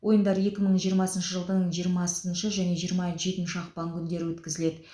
ойындар екі мың жиырмасыншы жылдың жиырмасыншы және жиырма жетінші ақпан күндері өткізіледі